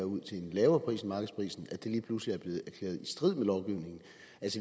ud til en lavere pris end markedsprisen lige pludselig er blevet erklæret i strid med lovgivningen